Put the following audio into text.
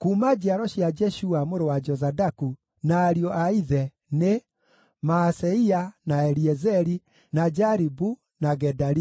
Kuuma njiaro cia Jeshua mũrũ wa Jozadaku na ariũ a ithe nĩ: Maaseia, na Eliezeri, na Jaribu, na Gedalia.